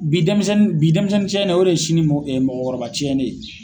Bi dɛnmisɛnnin ciɲɛnen o de ye sini mɔgɔkɔrɔba ciɲɛnen ye.